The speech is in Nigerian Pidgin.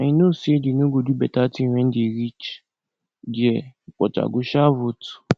i know say dey no go do beta thing wen dey reach there but i go sha vote